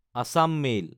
Assam mail